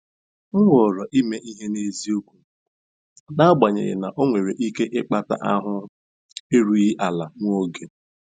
M họọrọ ime ihe n'eziokwu, n'agbanyeghị na ọ nwere ike ịkpata ahụ erughị ala nwa oge.